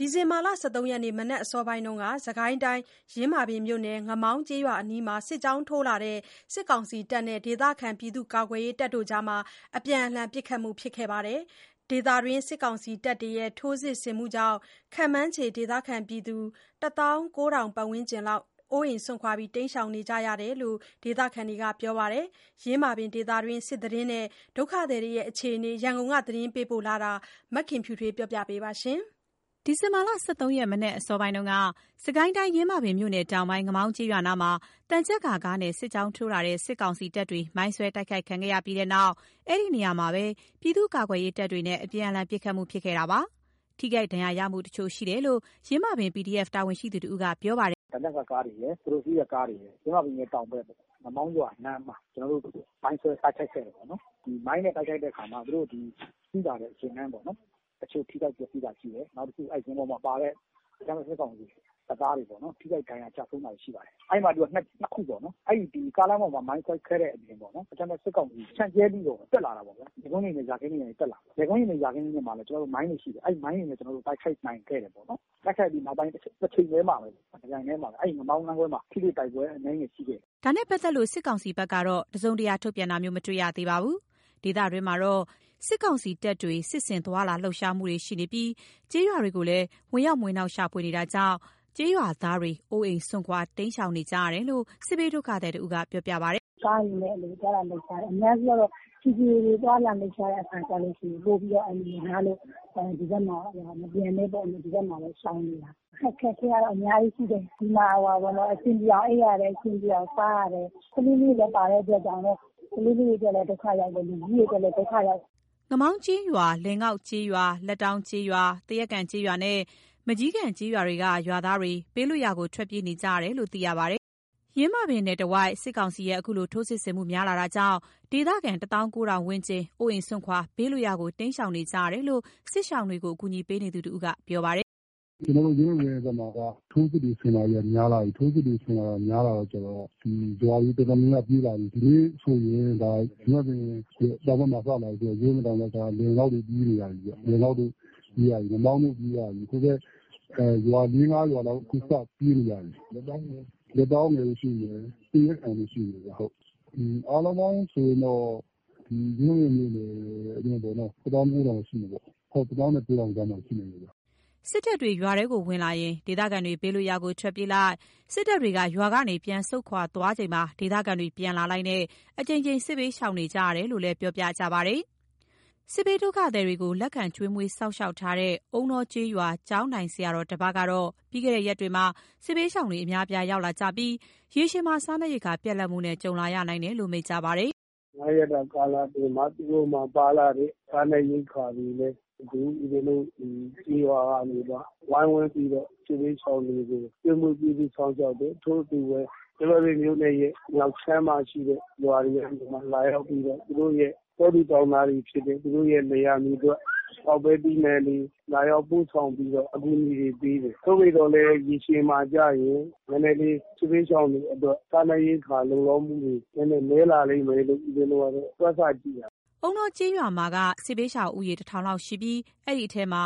ဒီဇင်ဘာ ၁၃ ရက်နေ့ မနက်အစောပိုင်းက စစ်ကိုင်းတိုင်း ယင်းမာပင်မြို့နယ် ငမောင်းကျေးရွာအနီးမှာ စစ်ကြောင်းထိုးလာတဲ့ စစ်ကောင်စီတပ်နဲ့ ဒေသခံပြည်သူ့ ကာကွယ်ရေးတပ်တွေအကြား အပြန်အလှန်ပစ်ခတ်မှုဖြစ်ခဲ့ပါတယ်။ ဒေသတွင်း စစ်ကောင်စီတပ်တွေရဲ့ ထိုးစစ်ဆင်မှုကြောင့် ခန့်မှန်းခြေ ဒေသခံ ၁၉,၀၀၀ ဝန်းကျင်လောက် အိုးအိမ်စွန့်ခွာတိမ်းရှောင်ကြရတယ်လို့လည်း ဒေသခံတွေကပြောပါတယ်။ ယင်းမာပင်ဒေသတွင်း စစ်သတင်းနဲ့ ဒုက္ခသည်တွေရဲ့အခြေအနေ ရန်ကုန် က သတင်းပေးပို့ချက်ကို မခင်ဖြူထွေးက တင်ပြပေးထားပါတယ်။ ဒီဇင်ဘာ ၁၃ ရက် မနက်အစောပိုင်း စစ်ကိုင်းတိုင်း ယင်းမာပင်မြို့နယ်တောင်ပိုင်း ငမောင်းကျေးရွာနားမှာ သံချပ်ကာကားနဲ့ စစ်ကြောင်းထိုးလာတဲ့ စစ်ကောင်စီတပ်တွေ မိုင်းဆွဲတိုက်ခိုက်ခံရပြီးတဲ့နောက် အဲဒီနေရာမှာပဲပြည်သူ့ကာကွယ်ရေးတပ်တွေနဲ့ အပြန်အလှန်ပစ်ခတ်မှုဖြစ်ခဲ့တာပါ။ ထိခိုက်ဒဏ်ရာရမှုတချို့ရှိတယ်လို့ ယင်းမာပင် PDF တာဝန်ရှိသူတဦးက ပြောပါတယ်။ “ခုန ကျနော်ပြောတဲ့ သံချပ်ကာကားတွေရယ်၊ သူတို့စီးတဲ့ ကားတွေရယ်၊ ယင်းမာပင်ရဲ့ တောင်ဘက်ပေါ့။ ငမောင်းရွာနားမှာ ကျနော်တို့ မိုင်းဆွဲတိုက်ခိုက်ခဲ့တယ်ပေ့ါနော်။ မိုင်းနဲ့တိုက်ခိုက်တဲ့ အခါမှာ သူတို့ဒီစီးလာတဲ့ ယာတန်းပေါ့နော်။ တချို့ထိခိုက် ပျက်စီးတာရှိတယ်။ နောက်တခု အဲ့ယာဉ်ပေါ်မှာပါလာတဲ့ အကြမ်းဖက်စစ်ကောင်စီတပ်သားတွေပေါ့နော်၊ ထိခိုက်ဒဏ်ရာ ကျဆုံးတာတွေရှိပါတယ်။ အဲ့မှာ သူက နှစ်ခုပေါ့နော်၊ အဲ့ဒီကားလမ်းပေါ်မှာ မိုင်းတိုက်ခိုက်ခဲ့တဲ့အပြင် အကြမ်း ဖက်စစ်ကောင်စီဖြန့်ကျက်ပြီးတော့ တက်လာတာပေ့ါဗျာ။ လယ်ကွင်းတွေနဲ့ ယာခင်းတွေနဲ့တက်လာတယ်။ လယ်ကွင်းတွေ ယာခင်းတွေထဲမှာလည်း ကျနော်တို့ မိုင်းတွေရှိတယ်။ အဲ့မိုင်းတွေနဲ့လည်း ကျနော်တို့ တိုက်ခိုက်နိုင်ခဲ့တယ်ပေါ့နော်။ တိုက်ခိုက်ပြီး နောက်ပိုင်း တချိန်တည်းမှာပဲ တပြိုင်တည်းမှာပဲ အဲ့ငမောင်းလမ်းခွဲမှာ ထိတွေ့တိုက်ပွဲ အနည်းငယ်ရှိခဲ့တယ်။” ဒါနဲ့ ပတ်သက်လို့ စစ်ကောင်စီဘက်ကတော့ တစုံတရာ ထုတ်ပြန်တာမျိုး မတွေ့ ရ သေးပါဘူး။ ဒေသတွင်းမှာတော့ စစ်ကောင်စီတွေ စစ်ဆင်သွားလာလှုပ်ရှားမှုတွေရှိနေပြီး ကျေးရွာတွေကိုလည်း ဝင်ရောက်မွှေနှောက်ရှာဖွေတာတွေကြောင့်လည်း ကျေးရွာသားတွေ အိုးအိမ်စွန့်တိမ်းရှောင်ကြရတယ်လို့ စစ်ဘေးဒုက္ခသည်တဦးကပြောပါတယ်။ “ကားတွေလည်း အဲ့လိုသွားလာလှုပ်ရှားတယ်။ အများစုကတော့ ခြေလျင်တွေ သွားလာလှုပ်ရှားတဲ့အခါကျလို့ရှိရင် ပိုပြီးတော့ အန္တရာယ်များလို့ ဒီဘက်မှ မပြန်နဲ့ပေါ့နော်၊ ဒီဘက်မှာပဲ ရှောင်နေတာ။ အခက်အခဲကတော့ အများကြီးရှိတယ်။ ဒီမှာ ဟိုဟာပေ့ါနော်။ အဆင်ပြေအောင် အိပ်ရတယ်။ အဆင်ပြေအောင် စားရတယ်။ ကလေးလေးလည်းပါတဲ့အတွက်ကြောင့် ကလေးလေးတွေအတွက်လည်း ဒုက္ခရောက်တယ်။ လူကြီးတွေအတွက်လည်း ဒုက္ခရောက်တယ်ပေါ့။” ငမောင်းကျေးရွာ၊ လည်ငေါက်ကျေးရွာ၊ လက်တောင်းကျေးရွာ၊ သရက်ကန်ကျေးရွာနဲ့ မန်ကျည်ကန်ကျေးရွာတွေက ကျေးရွာသားတွေ ဘေးလွတ်ရာကို ထွက်ပြေးနေကြရတယ်လို့သိရပါတယ်။ ယင်းမာပင်နယ်တဝိုက် စစ်ကောင်စီရဲ့ အခုလို ထိုးစစ်ဆင်မှု များလာတာကြောင့် ဒေသခံ ၁၉,၀၀၀ ဝန်းကျင် အိုးအိမ်စွန့်ခွာ ဘေးလွတ်ရာကို တိမ်းရှောင်နေကြတာလို့ စစ်ရှောင်အကူအညီပေးသူတဦးက ဆိုပါတယ်။ “ကျနော်တို့ ယင်းမာပင်မှာက ထိုးစစ်တွေ ဆင်လာတာက များလာပြီ။ ထိုးစစ်တွေ ဆင်လာတာများလာတာကျတော့ ဒီရွာတွေ တော်တော်များများပြေးလာပြီ။ ဒီနေ့ဆိုရင် ယင်းမာပင်ရဲ့ တောင်ဘက်မှာ စလာပြီဆိုတော့ ယင်းမာပင်တောင်ဘက် က လည်ငေါက်တွေ ပြေးနေရပြီဗျ။ လည်ငေါက်တို့၊ ငမောင်းတို့ပြေးရပြီ။ ဟိုဘက် ၄၊ ၅ ရွာလောက် အခုစပြေးနေရပြီ။ လက်တောင်းတွေရှိမယ်၊ သရက်ကန်တွေ ရှိမယ်ဗျဟုတ်။ အားလုံးပေါင်းဆိုရင်တော့ ဒီယင်းမာပင်မြို့နယ်ထဲပေါ့နော် တသောင်း ကိုးထောင်ရှိမယ်ပေါ့။ ဟုတ် တသောင်းနဲ့ ကိုးထောင်ကြားမှာ ရှိမယ်ဟုတ်။” စစ်တပ်တွေ ရွာထဲဝင်လာရင် ဒေသခံတွေ ဘေးလွတ်ရာကို ထွက်ပြေးလိုက်၊ စစ်တပ်တွေ ရွာကနေပြန်ဆုတ်ခွာသွားချိန် ဒေသခံတွေ ပြန်လာလိုက်နဲ့ အကြိမ်ကြိမ် စစ်ဘေးရှောင်နေကြရတာလို့လည်း ပြောပါတယ်။ စစ်ဘေးဒုက္ခသည်တွေ လက်ခံကျွေးမွေးစောင့်ရှောက်ထားတဲ့ အုန်းတောကျေး ရွာ ကျောင်းထိုင်ဆရာတော်တပါးကတော့ ပြီးခဲ့တဲ့ ရက်တွေမှာ စစ်ဘေးရှောင်တွေ အများအပြား ရောက်လာကြပြီး ရေရှည်မှာ စားနပ်ရိက္ခာပြတ်လတ်မှုနဲ့ ကြုံလာနိုင်တယ်လို့မိန့်ကြားပါတယ်။ “၅ ရက်တာ ကာလအတွင်းမှာ သူတို့မှာ ပါလာတဲ့ စားနပ်ရိက္ခာတွေနဲ့ အခု ဦးဇင်းတို့ ဒီကျေးရွာကနေပြီးမှ ဝိုင်းဝန်းပြီးတော့ စစ်ဘေးရှောင်တွေကို ကျွေးမွေးပြုစု စောင့်ရှောက်တယ်။ ထို့အတူပဲ ယင်းမာပင်မြို့နယ်ရဲ့မြောက်ခြမ်းမှာ ရှိတဲ့ ရွာတွေက လာရောက်ပြီးတော့ သူတို့ရဲ့ တောသူတောင်သားတွေဖြစ်တဲ့ သူတို့ရဲ့ လယ် ယာမြေထွက် ပေါက်ပဲ သီးနှံတွေ လာရောက်ပို့ဆောင်ပြီးတော့ အကူအညီတွေပေးတယ်။ သို့သော်လည်း ရေရှည်မှာကျရင် နည်းနည်းလေး စစ်ဘေးရှောင်တွေအတွက် စားနပ်ရိက္ခာလုံလောက်မှုတွေ နည်းနည်း နည်းလာလိမ်မယ်လို့ ဦးဇင်းတို့ ကတော့ တွက်ဆကြည့်တာပေ့ါ။” အုန်းတောကျေးရွာမှာက စစ်ဘေးရှောင်ဦးရေ ၁,၀၀၀ လောက် ရှိပြီး အဲ့ဒီထဲမှာ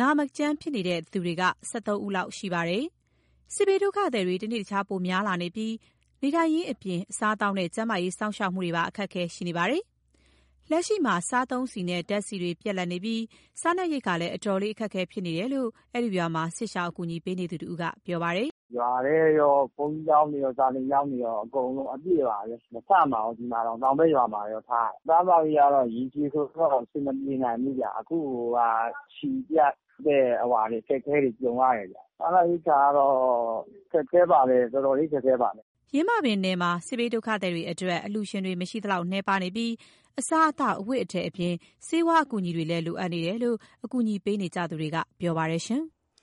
နေမကောင်း ဖျားနာသူတွေ ၁၃ ဦးလောက်ရှိပါတယ်။ စစ်ဘေးဒုက္ခသည်တွေ တနေ့တခြား ပိုမိုများလာပြီး နေထိုင်ရေးအပြင် အစားအသောက်နဲ့ ကျန်းမာရေး စောင့်ရှောက်မှုတွေမှာပါ အခက်အခဲရှိနေပါတယ်။ လက်ရှိမှာ စားသုံးဆီနဲ့ ဓာတ်ဆီတွေ ပြတ်လတ်နေပြီး စားနပ်ရိက္ခာလည်း အတော်လေး အခက်အခဲဖြစ်နေတယ်လို့ အဲ့ဒီရွာမှာ စစ်ရှောင်အကူအညီပေးသူတဦးက ပြောပါတယ်။ “ရွာထဲရော ကျောင်းကြီးဘုန်းတွေရော စာသင်ကျောင်းတွေရော အကုန်လုံး အပြည့်ပါပဲ မဆံ့ပါဘူး။ ဒီမှာတောင် တောင်ဘက်ရွာမှာရော ထားရတယ်။ အစားအသောက်ရေးက ရေရှည်ဆိုတော့ အဆင်မပြေနိုင်ဘူးဗျ။ အခု ဆီပြတ်တဲ့ အခက်အခဲတွေ ကြုံရတယ်ဗျ။ စားနပ်ရိက္ခာကတော့ ခက်ခဲပါတယ်။ တော်တော်လေး ခက်ခဲပါတယ်။” ယင်းမာပင်နယ်မှာ စစ်ဘေးဒုက္ခသည်တွေအတွက် အလှူရှင်တွေ မရှိလောက် နည်းပါးနေပြီး အစားအသောက်အဝတ်အထည်တွေအပြင် ဆေးဝါးအကူအညီတွေလည်း လိုအပ်နေတယ်လို့ အကူအညီပေးနေသူတွေက ပြောပါတယ်။